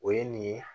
O ye nin ye